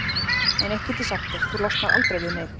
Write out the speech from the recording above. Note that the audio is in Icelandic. En eitt get ég sagt þér: Þú losnar aldrei við mig.